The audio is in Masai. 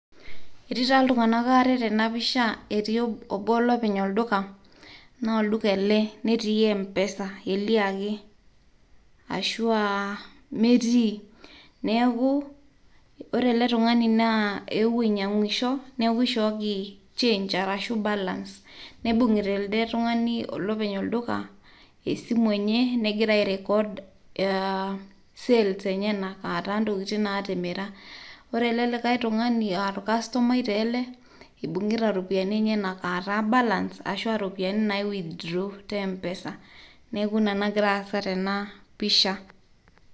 etii taa iltunganak aare tena pisha ,etii obo lopeny olduka ,naa olduka ele netii mpesa elia ake, ashuaa metii ,neku ore ele tungani naa eewuo ainyangisho , neku ishooki change arashu balance . neibungita elde tungani olopeny olduka , esimu enye , negira ae record sales enyenak aaataa intokiti natimira. ore ele likae tungani aa orkastomai taa ele , ibungita iropiyiani enyenak ataa balance ashua iropiyiani nai withdraw ]cs] te mpesa. neku ina nagira aasa tena pisha.